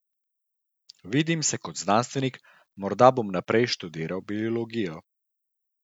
Vidim se kot znanstvenik, morda bom naprej študiral biologijo.